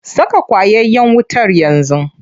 Saka ƙwayayen wutar yanzu.